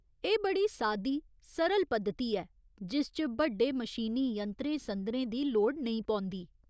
एह् बड़ी सादी सरल पद्धति ऐ जिस च बड्डे मशीनी यंत्रें संदरें दी लोड़ नेईं पौंदी।